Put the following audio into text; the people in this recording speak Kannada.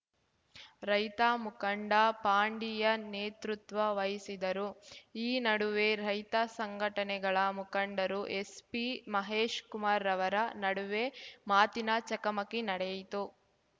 ರೈತ ಮುಖಂಡ ಪಾಂಡಿಯನ್‌ ನೇತೃತ್ವ ವಹಿಸಿದ್ದರು ಈ ನಡುವೆ ರೈತ ಸಂಘಟನೆಗಳ ಮುಖಂಡರು ಎಸ್ಪಿ ಮಹೇಶ್‌ ಕುಮಾರ್‌ರವರ ನಡುವೆ ಮಾತಿನ ಚಕಮಕಿ ನಡೆಯಿತು